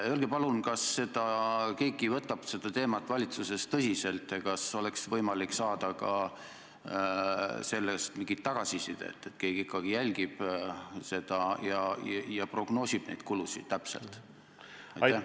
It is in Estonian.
Öelge palun, kas keegi võtab seda teemat valitsuses tõsiselt ja kas oleks võimalik saada ka mingit tagasisidet selle kohta, et keegi ikkagi jälgib seda ja prognoosib täpselt kulusid.